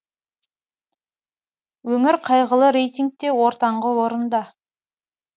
өңір қайғылы рейтингте ортаңғы орында